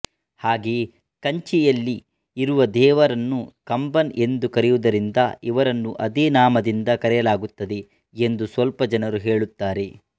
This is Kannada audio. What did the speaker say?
ಹಾಗೆಯೇ ಕಂಚಿಯಲ್ಲಿ ಇರುವ ದೇವರನ್ನು ಕಂಬನ್ ಎಂದು ಕರೆಯುವುದರಿಂದ ಇವರನ್ನು ಅದೇ ನಾಮದಿಂದ ಕರೆಯಲಾಗುತ್ತದೆ ಎಂದು ಸ್ವಲ್ಪ ಜನರು ಹೇಳುತ್ತಾರೆ